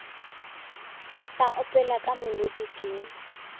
sa opela ka molodi ke